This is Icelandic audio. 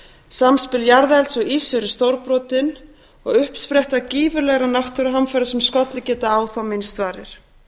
samspil jarðelds og íss er stórbrotið og uppspretta gífurlegra náttúruhamfara sem skollið geta á þá minnst varir